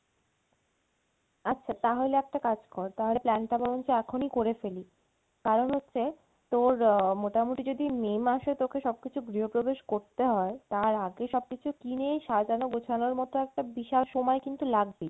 আচ্ছা তাহলে একটা কাজ কর তাহলে plan টা বরঞ্চ এখনি করে ফেলি কারন হচ্ছে তোর আহ মোটামটি যদি May মাসে তোকে সব কিছু গৃহ প্রবেশ করতে হয় তার আগে সব কিছু কিনে সাজানো গছানোর মতো একটা বিশাল সময় কিন্তু লাগবে।